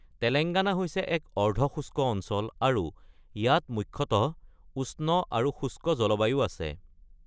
তেলেংগানা হৈছে এক অৰ্ধ-শুষ্ক অঞ্চল আৰু ইয়াত মুখ্যতঃ উষ্ণ আৰু শুষ্ক জলবায়ু আছে।